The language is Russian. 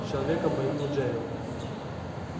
с человеком по имени джерилл